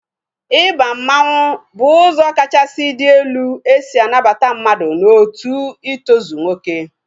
Ịba mmanwu bụ ụzọ kachasị dị elu esi anabata mmadụ n'otu itozu nwoke